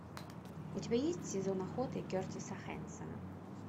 у тебя есть сезон охоты кертиса хэнсона